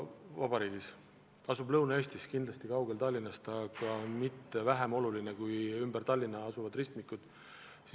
See asub küll Lõuna-Eestis, Tallinnast kaugel, aga pole sugugi vähem oluline kui ümber Tallinna asuvad ristmikud.